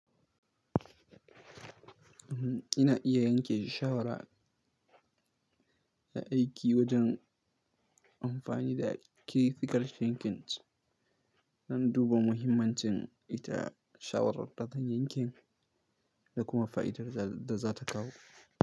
Ina iya yanke shawara ta aiki wajen amfani da critical thinking don duba muhimmancin ita shawarar da zan yanke da kuma fa'idar da za ta kawo.